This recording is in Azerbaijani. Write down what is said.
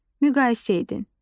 Müqayisə edin.